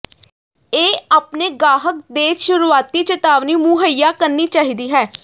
ਇਹ ਆਪਣੇ ਗਾਹਕ ਦੇ ਸ਼ੁਰੂਆਤੀ ਚੇਤਾਵਨੀ ਮੁਹੱਈਆ ਕਰਨੀ ਚਾਹੀਦੀ ਹੈ